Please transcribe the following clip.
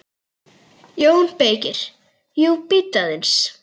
JÓN BEYKIR: Jú, bíddu aðeins!